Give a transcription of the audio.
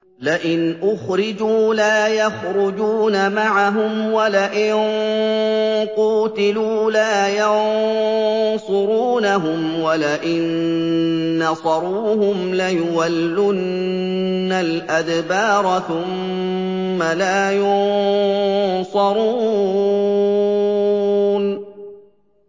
لَئِنْ أُخْرِجُوا لَا يَخْرُجُونَ مَعَهُمْ وَلَئِن قُوتِلُوا لَا يَنصُرُونَهُمْ وَلَئِن نَّصَرُوهُمْ لَيُوَلُّنَّ الْأَدْبَارَ ثُمَّ لَا يُنصَرُونَ